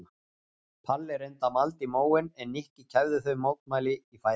Palli reyndi að malda í móinn en Nikki kæfði þau mótmæli í fæðingu.